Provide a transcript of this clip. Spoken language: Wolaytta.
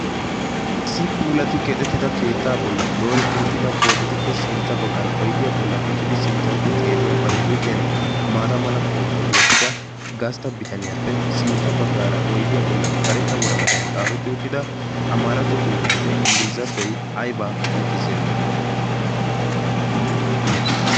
isi puulati keexettida keettaa bollan dooretti uttida poototuppe sintta baggan oidiyaa bollan uttidi sinttahukko xeelliya bari huuphiyan maata mala qoophiyaa wottida gastta bitaniyaappe sintta baggaara oydiyaa bollan kareta waraqadan xaafetti uttida amaaratto xuufheenne inggilizatoi aybaa qonccissiyaagee?